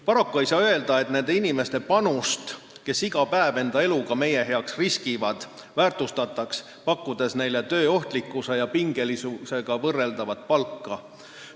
Paraku ei saa öelda, et nende inimeste panust, kes iga päev meie heaks oma eluga riskivad, väärtustataks, pakkudes neile töö ohtlikkusele ja pingelisusele vastavat palka.